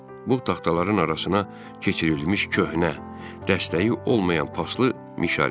Bu taxtaların arasına keçirilmiş köhnə, dəstəyi olmayan paslı mişar idi.